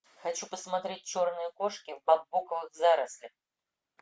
хочу посмотреть черные кошки в бамбуковых зарослях